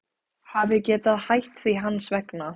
Hafi getað hætt því hans vegna.